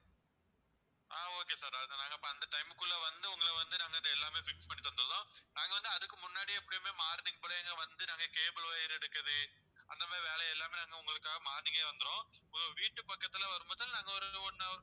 ஆஹ் okay sir அதை நாங்க அந்த time குள்ள வந்து உங்களை வந்து நாங்க வந்து எல்லாமே fix பண்ணி தந்துடுதோம் நாங்க வந்து அதுக்கு முன்னாடியே எப்போமே morning போலயே அங்க வந்து நாங்க cable wire எடுக்குறது அந்த மாதிரி வேலை எல்லாமே நாங்க உங்களுக்காக morning ஏ வந்துருவோம் உங்க வீட்டு பக்கத்துல வரும்போது நாங்க ஒரு one hour